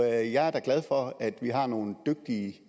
er jeg er da glad for at vi har nogle dygtige